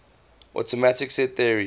axiomatic set theory